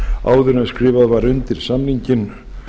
áður en skrifað var undir samninginn